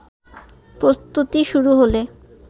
প্রস্তুতি শুরু হলে